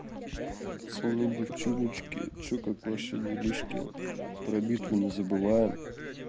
пацаны девулечки что как вообще делишки про битву не забываем